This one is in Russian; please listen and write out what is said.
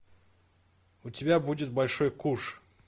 у тебя будет большой куш